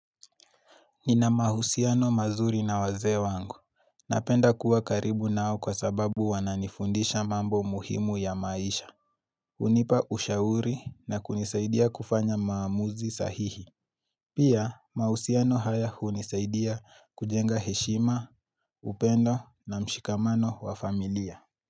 Nina mahusiano mazuri na wazee wangu. Napenda kuwa karibu nao kwa sababu wananifundisha mambo muhimu ya maisha. Hunipa ushauri na kunisaidia kufanya maamuzi sahihi. Pia mahusiano haya hunisaidia kujenga heshima, upendo na mshikamano wa familia.